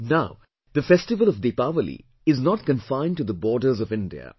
Now, the festival of Deepawali is not confined to the borders of India